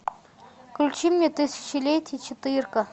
включи мне тысячелетие четырка